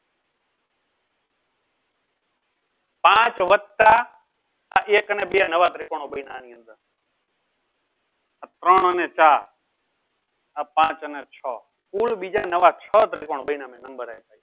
પાંચ વત્તા એક ને બે નવા ત્રીકોનો બન્યા આની અંદર આ ત્રણ અને ચાર આ પાંચ અને છ કુલ બીજા નવા છ ત્રીકોનો બન્યા